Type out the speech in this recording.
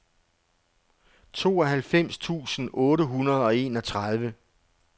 tooghalvfems tusind otte hundrede og enogtredive